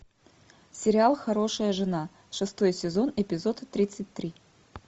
сериал хорошая жена шестой сезон эпизод тридцать три